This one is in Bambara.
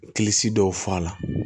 Kilisi dɔw f'a la